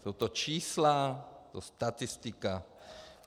Jsou to čísla, je to statistika.